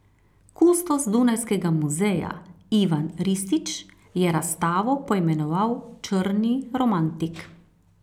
Kustos dunajskega muzeja Ivan Ristić je razstavo poimenoval Črni romantik.